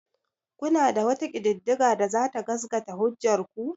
Kuna da wata ƙididdiga da za ta gasgata hujjar ku?